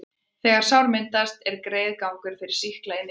þegar sár myndast, er greiður gangur fyrir sýkla inn í líkamann.